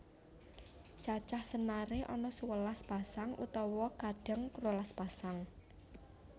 Cacah senare ana sewelas pasang utawa kadang rolas pasang